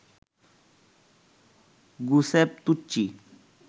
Giuseppe Tucci